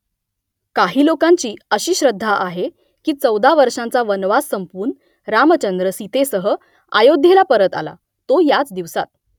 काही लोकांची अशी श्रद्धा आहे की चौदा वर्षांचा वनवास संपवून रामचंद्र सीतेसह अयोध्येला परत आला तो याच दिवसात